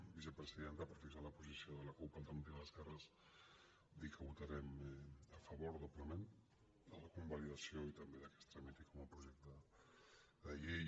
vicepresidenta per fixar la posi·ció de la cup · alternativa d’esquerres dir que vota·rem a favor doblement de la convalidació i també del fet que es tramiti com a projecte de llei